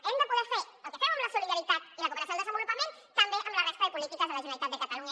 hem de poder fer el que fem amb la solidaritat i la cooperació al desenvolupament també amb la resta de polítiques de la generalitat de catalunya